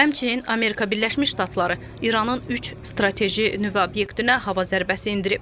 Həmçinin Amerika Birləşmiş Ştatları İranın üç strateji nüvə obyektinə hava zərbəsi endirib.